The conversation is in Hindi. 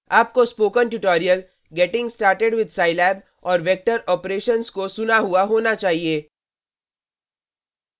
आपको spoken tutorial: getting started with scilab और vector operations को सुना हुआ होना चाहिए